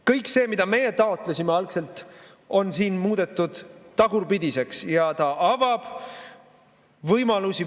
Kõik see, mida me algselt taotlesime, on siin muudetud tagurpidiseks ja see avab veel rohkem võimalusi.